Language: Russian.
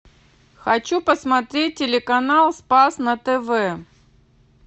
хочу посмотреть телеканал спас на тв